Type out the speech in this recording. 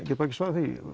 get ekki svarað því